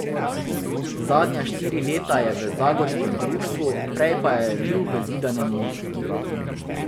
Zadnja štiri leta je v zagorskem društvu, prej je bil v Zidanem Mostu.